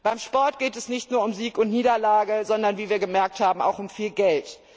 Beim Sport geht es nicht nur um Sieg und Niederlage, sondern, wie wir gemerkt haben, auch um viel Geld.